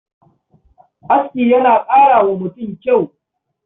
Aski yana ƙara wa mutum kyau.